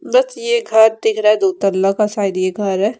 ये घर दिख रा है शायद ये घर है।